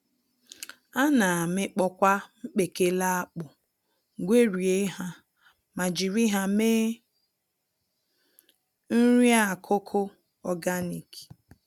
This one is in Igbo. Ana amịkpọkwa mkpekele akpụ, gwerie ha, ma jiri ha mee nri-akụkụ ọganik